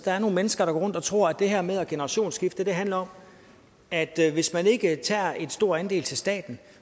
er nogle mennesker der går rundt og tror at det her med at generationsskifte handler om at hvis man ikke tager en stor andel til staten